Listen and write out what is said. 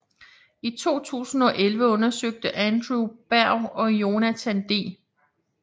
I 2011 undersøgte Andrew Berg og Jonathan D